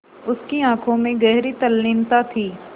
उसकी आँखों में गहरी तल्लीनता थी